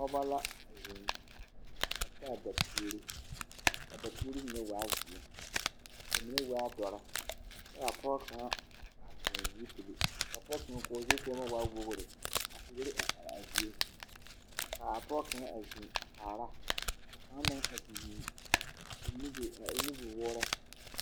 Noba la a eŋ, a taa dapuuri. Ka adapuuri mine waa zeɛ, ka mine waa dɔre kyɛ ka a pɔge kaŋa a toŋ zupili ka pɔge kaŋa ka o zukɔɔma waa wogiri ka teere a are a zie. Ka a pɔge kaŋa a zeŋ a kaara ka kaŋa meŋ a te zeŋ a eŋ nubi… a eŋ nubiwoore.